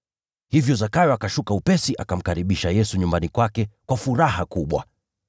Hivyo Zakayo akashuka upesi, akamkaribisha Yesu nyumbani kwake kwa furaha kubwa.